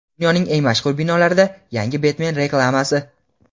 Dunyoning eng mashhur binolarida yangi Betmen reklamasi.